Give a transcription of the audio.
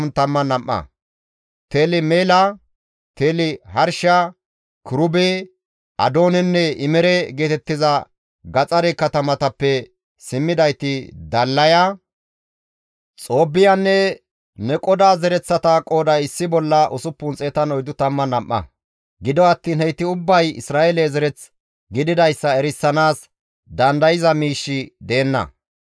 Teli-Meela, Teli-Harsha, Kirube, Adoonenne Imere geetettiza gaxare katamatappe simmidayti Dallaya, Xoobbiyanne Neqoda zereththata qooday issi bolla 642; gido attiin heyti ubbay Isra7eele zereth gididayssa erisanaas dandayza miishshi deenna.